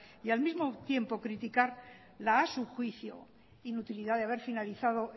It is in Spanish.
y al mismo tiempo criticar a su juicio la inutilidad de haber finalizado